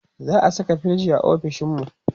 za'a Saka firij ofishinmu?